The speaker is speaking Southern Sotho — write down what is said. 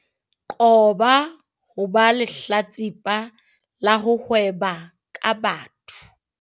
Qoba ho ba lehlatsipa la ho hweba ka batho.